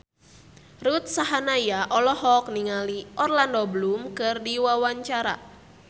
Ruth Sahanaya olohok ningali Orlando Bloom keur diwawancara